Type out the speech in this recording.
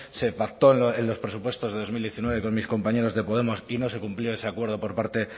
se pactó en los presupuestos de dos mil diecinueve con mis compañeros de podemos y no se cumplió ese acuerdo por parte